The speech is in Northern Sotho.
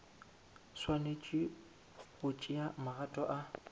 swanetše go tšea magato a